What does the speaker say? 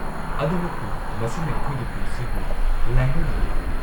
ꯑꯗꯨꯃꯛꯄꯨ, ꯃꯁꯤꯅ ꯑꯩꯈꯣꯏꯒꯤ ꯄꯨꯟꯁꯤꯕꯨ ꯂꯥꯏꯍꯜꯂꯤꯅꯤ꯫